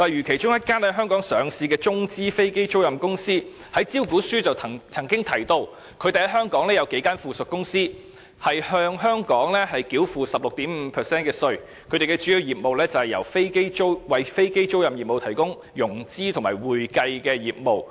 其中一間在香港上市的中資飛機租賃公司便在其招股書中提到，它在香港擁有數間附屬公司，並向香港繳付 16.5% 稅款，而其主要業務是為飛機租賃業務提供融資及會計服務。